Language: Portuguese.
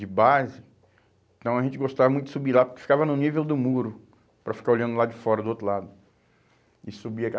de base. Então a gente gostava muito de subir lá, porque ficava no nível do muro, para ficar olhando o lado de fora, do outro lado. E subir a